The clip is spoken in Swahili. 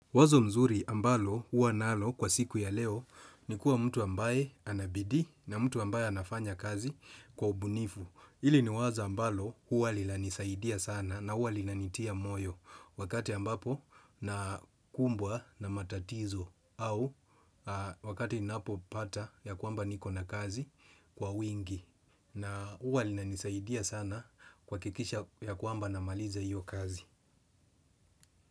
Wazo mzuri ambalo uwa nalo kwa siku ya leo ni kuwa mtu ambaye anabidi na mtu ambaye anafanya kazi kwa ubunifu. Ili ni wazo ambalo huwa lilanisaidia sana na uwa lilanitia moyo wakati ambapo nakumbwa na matatizo au wakati napopata ya kuamba niko na kazi kwa wingi na uwa lilanisaidia sana kwakikisha ya kuamba namaliza hiyo kazi.